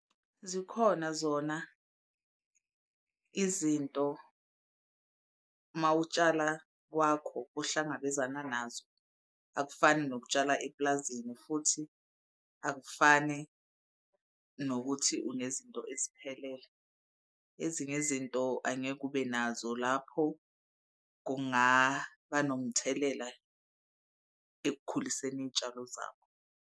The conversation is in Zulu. Zikhona zona izinto uma utshala kwakho ohlangabezana nazo, akufani nokutshala eplazini futhi akufani nokuthi unezinto eziphelele. Ezinye izinto angeke ube nazo lapho kungaba nomthelela ekukhuliseni iy'tshalo zakho.